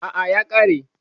Aa, ya kare